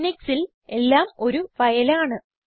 ലിനക്സിൽ എല്ലാം ഒരു ഫയൽ ആണ്